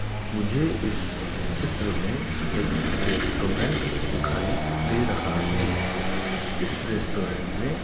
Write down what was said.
मुझे इस चित्र में एक रेस्टोरेंट दिखाई दे रहा है इस रेस्टोरेंट में --